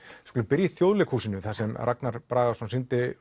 við skulum byrja í Þjóðleikhúsinu þar sem Ragnar Bragason sýndi